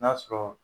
N'a sɔrɔ